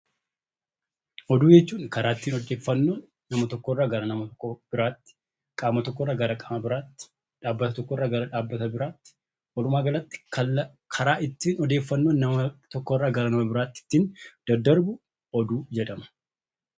Oduu jechuun karaa nama tokko irraa nama biraatti yookaan qaama tokko irraa gara qaama biraatti , dhaabbata tokko irraa gara dhaabbata biraatti walumaa galatti karaa ittiin odeeffannoon daddarbu oduu jedhama.